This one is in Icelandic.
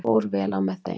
Fór vel á með þeim.